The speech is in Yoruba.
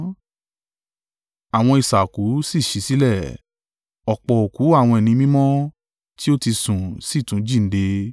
Àwọn isà òkú sì ṣí sílẹ̀. Ọ̀pọ̀ òkú àwọn ẹni mímọ́ tí ó ti sùn sì tún jíǹde.